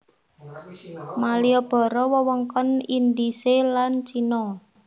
Maliboro wewengkon Indhise lan Cina